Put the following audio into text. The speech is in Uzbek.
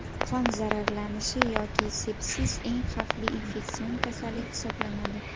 Qon zararlanishi yoki sepsis eng xavfli infeksion kasallik hisoblanadi.